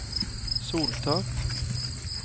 soltak